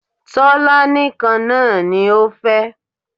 Tọ́lání kan náà ni ó fẹ́